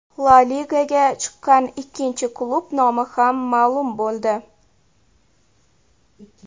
La Ligaga chiqqan ikkinchi klub nomi ham ma’lum bo‘ldi.